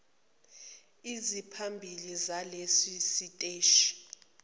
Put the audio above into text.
eziphambili zaleso siteshi